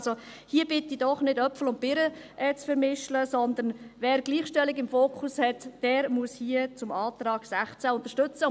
Also, ich bitte doch hier darum, Äpfel und Birnen nicht miteinander zu vermischen, sondern: Wer Gleichstellung im Fokus hat, der muss hier den Antrag der 16’000 Franken unterstützen.